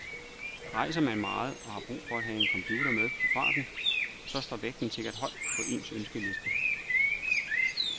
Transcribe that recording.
Rejser man meget og har brug for at have en computer med på farten, så står vægten sikkert højt på ens ønskeliste.